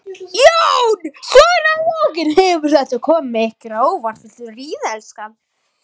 Jón: Svona að lokum, hefur þetta komið ykkur á óvart?